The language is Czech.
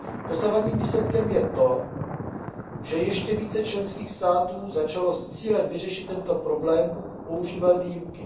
Dosavadním výsledkem je to, že ještě více členských států začalo s cílem vyřešit tento problém používat výjimky.